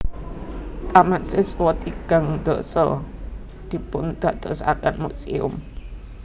Taman siswa tigang dasa dipundadosaken muséum